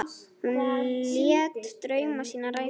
Hún lét drauma sína rætast.